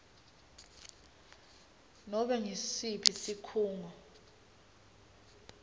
nobe ngusiphi sikhungo